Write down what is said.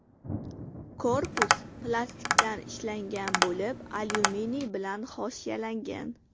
Korpus plastikdan ishlangan bo‘lib, alyuminiy bilan hoshiyalangan.